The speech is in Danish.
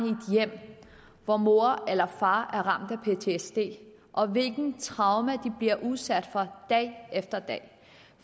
hjem hvor mor eller far er ramt af ptsd og hvilke traumer de bliver udsat for dag efter dag